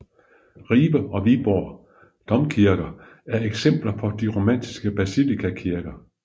Ribe og Viborg domkirker er eksempler på de romanske basilikakirker